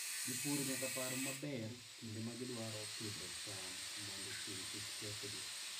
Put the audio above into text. Jopur nyaka par maber kinde ma gidwaro pidho cham mondo chieng' kik kethgi.